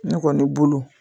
Ne kɔni bolo